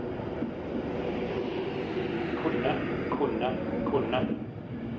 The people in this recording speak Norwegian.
kunne kunne kunne